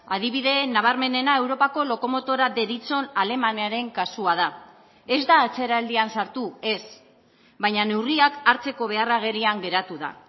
adibide nabarmenena europako lokomotora deritzon alemaniaren kasua da ez da atzeraldian sartu ez baina neurriak hartzeko behar agerian geratu da